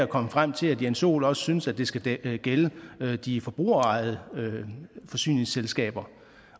kommet frem til at jens joel også synes at det skal gælde de forbrugerejede forsyningsselskaber